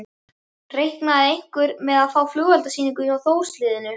Reiknaði einhver með að fá flugeldasýningu frá Þórs liðinu?